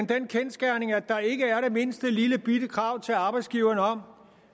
den kendsgerning at der ikke er det mindste lillebitte krav til arbejdsgiverne om